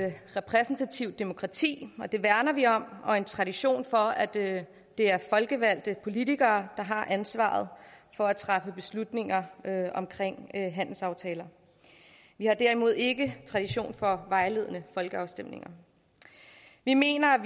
repræsentativt demokrati og det værner vi om og en tradition for at det er folkevalgte politikere der har ansvaret for at træffe beslutninger om handelsaftaler vi har derimod ikke tradition for vejledende folkeafstemninger vi mener at